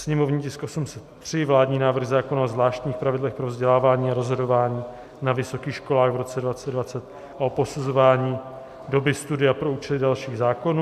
- sněmovní tisk 803 - vládní návrh zákona o zvláštních pravidlech pro vzdělávání a rozhodování na vysokých školách v roce 2020 a o posuzování doby studia pro účely dalších zákonů;